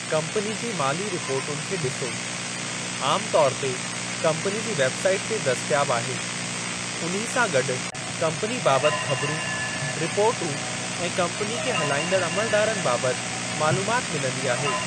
Company जी माली रिपोर्टुनि खे ॾिसो, आम तौरु ते कम्पनी जी वेब साईट ते दस्तियाब आहे, उन्ही सां गॾु कम्पनी बाबति ख़बरूं, रिपोर्टूं ऐं कम्पनी खे हलाईंदड़ अमलदारनि बाबति मालूमात मिलंदी आहे।